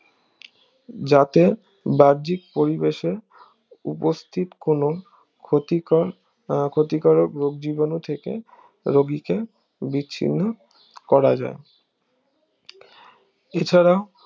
যাতে বার্জিক পরিবেশে উপস্থিত কোনো ক্ষতিকর আহ ক্ষতিকারক রোগ জীবাণু থেকে রোগীকে বিচ্ছিন্ন করা যায় এছাড়াও